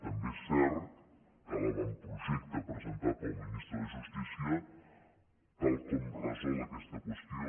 també és cert que l’avantprojecte presentat pel ministre de justícia tal com resol aquesta qüestió